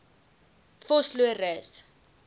vosloorus